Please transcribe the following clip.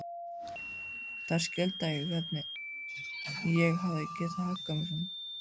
Þær skildu ekki hvernig ég hafði getað hagað mér svona.